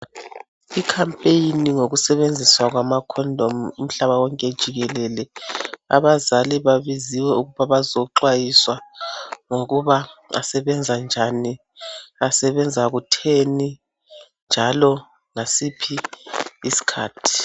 I campaign yokusebenziswa kwama condom umhlabawonke jikelele abazali babiziwe ukuba bazoxwayiswa ngokuba asebenza njani asebenza kutheni njalo ngasiphi isikhathi